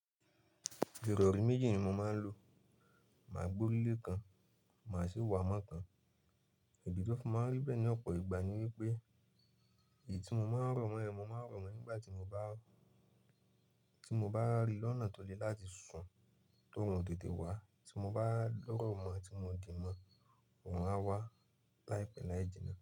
Ìrọ̀rí méjì ni mo máa ń lo. Màá gbe ori le kan, màá sì wà mọ́ kan. Ìdí ti ó fi máa ń rí bẹ́ẹ̀ ní ọ̀pọ̀ ìgbà ni wípé èyií tí mo máa ń rọ̀ mọ́ yẹn, mo máa rọ̀ mọ́ ẹ̀ nígbà tí mo bá, tí mo bá rí lọ́nà tó le láti sún ti orun ò tete wá. Tí mo bá rọ̀ mọ́ tí mo di mọ́, orun a wá láìpẹ́ láì jìnnà.